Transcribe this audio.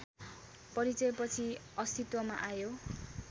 परिचयपछि अस्तित्वमा आयो